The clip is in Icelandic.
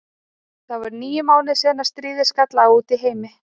Það voru níu mánuðir síðan stríðið skall á úti í heimi.